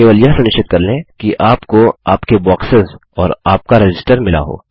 केवल यह सुनिश्चित कर लें कि आपको आपके बॉक्सेस और आपका रजिस्टर मिला हो